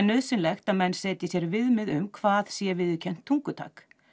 nauðsynlegt að menn setji sér viðmið um hvað sé viðurkennt tungutak